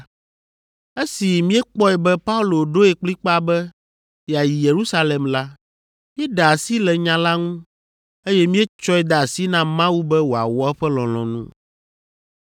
Esi míekpɔe be Paulo ɖoe kplikpaa be yeayi Yerusalem la, míeɖe asi le nya la ŋu, eye míetsɔe de asi na Mawu be wòawɔ eƒe lɔlɔ̃nu.